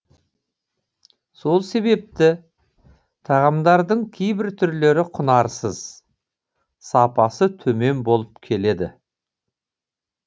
сол себепті тағамдардың кейбір түрлері құнарсыз сапасы төмен болып келеді